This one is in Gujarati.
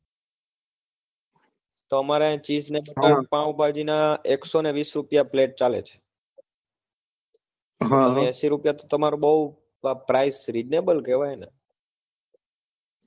તો અમારે chinese ને પાવભાજી ના એકસો ને વીસ રૂપિયા plate ચાલે તો એંસી રૂપિયા તો તમાર બઉ reasonable કેવાય ને